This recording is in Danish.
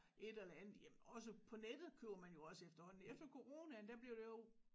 Et eller andet jamen også på nettet køber man jo også efterhånden efter Coronaen der blev der jo